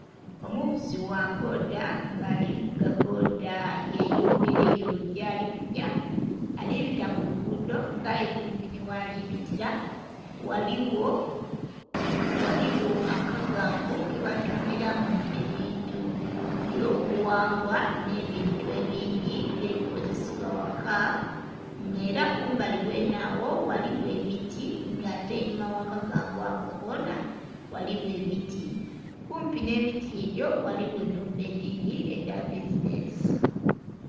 Omuvuzi gha bbodha nga ali vuga bbodha yeyongereyo gyalikugya alibita kulugudho nga aye kumpi nhighalibitira ghaligho akagangu keba tundhiramu ebintu ebyobughangwa nh'ebintu ebindhi nga ebikozesebya ghaka nga era kumbali ghenhegho ghaligho emiti ate einhuma oghakagangu ako konha ghaligho emiti kumpi nhemiti egyo ghaligho nh'enhumba edhabbizinhensi.